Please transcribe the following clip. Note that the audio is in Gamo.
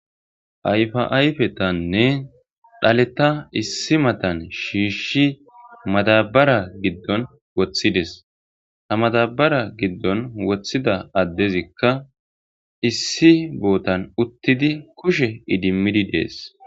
Ayfa ayfetanne dhaleta issi matan shiishshi matabara giddon woththides ta matabara giddon woththida addezikka issi bootan uttidi kushe idimmidi dees.